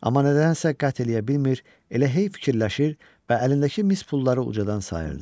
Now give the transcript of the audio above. Amma nədənsə qət eləyə bilmir, elə hey fikirləşir və əlindəki mis pulları ucadan sayırdı.